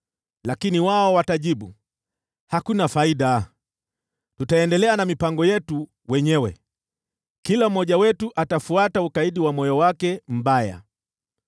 Lakini wao watajibu, ‘Hakuna faida. Tutaendelea na mipango yetu wenyewe, kila mmoja wetu atafuata ukaidi wa moyo wake mbaya.’ ”